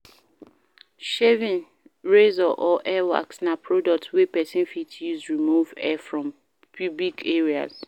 Shaving razor or hair wax na product wey persin fit use remove hair from pubic areas